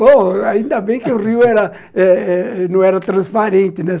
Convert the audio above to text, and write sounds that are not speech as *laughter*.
Bom, *laughs* ainda bem que *laughs* o rio era eh eh, não era transparente, né?